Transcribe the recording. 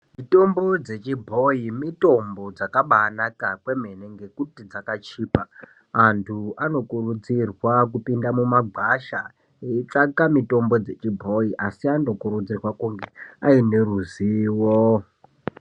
Mitombo dzechibhoi mitombo dzakabaanaka kwemene ngekuti dzakachipa. Antu anokurudzirwa kupinda mumagwasha eitsvanga mitombo yechibhoyi asi anokurudzirwa kunge aine ruzivo.